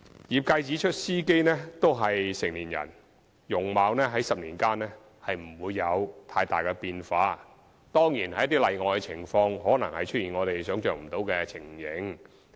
業界指出司機均屬成年人，其容貌在10年間不會有太大變化，當然在一些例外的情況，可能出現我們想象不到的情形。